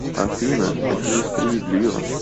афина это не справедливо